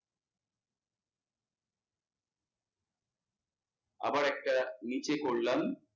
আবার একটা নিচে করলাম